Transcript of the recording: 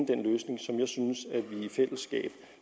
den løsning som jeg synes at vi i fællesskab